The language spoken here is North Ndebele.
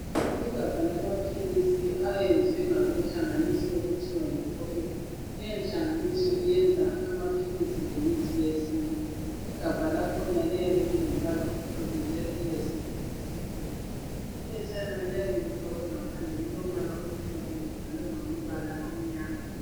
Igabha lamaphilisi ayenzwe ngabenhlanagniso okuthiwa yi Forever leyo nhlanganiso iyenza amaphilisi lemithi yesintu igabha lakhona liyabe lilombala omhlophe njalo lilesivalo esimhlophe iphetshana liyabe lifakwe ngaphandle lilombala omhlophe libhalwe ngamabala amnyama